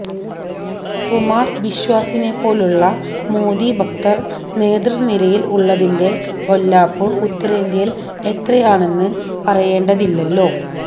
കുമാർ ബിശ്വാസിനെപ്പോലുള്ള മോദി ഭക്തർ നേതൃനിരയിൽ ഉള്ളതിന്റെ പൊല്ലാപ്പ് ഉത്തരേന്ത്യയിൽ എത്രയാണെന്ന് പറയേണ്ടതില്ലല്ലോ